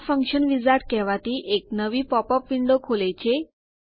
આ function wizard કહેવાતી એક નવી પોપ અપ વિન્ડો ખોલે છે